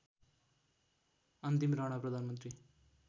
अन्तिम राणा प्रधानमन्त्री